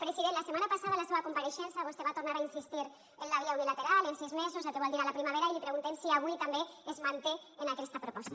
president la setmana passada en la seva compareixença vostè va tornar a insistir en la via unilateral els sis mesos el que vol dir a la primavera i li preguntem si avui també es manté en aquesta proposta